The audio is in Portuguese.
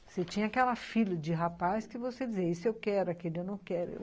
Você tinha aquela filha de rapaz que você dizia, esse eu quero, aquele eu não quero.